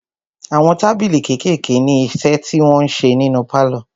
Àwọn tábìlì kékèèké ní iṣẹ́ tí wọn ń ṣe nínu pálọ̀.